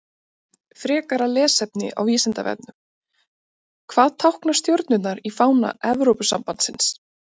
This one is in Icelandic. Frekara lesefni á Vísindavefnum: Hvað tákna stjörnurnar í fána Evrópusambandsins?